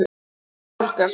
Fingur hans nálgast.